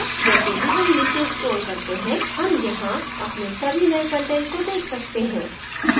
जैसे ही हम नीचे scroll करते हैं हम यहाँ अपने सभी नये कंटेंट को देख सकते हैं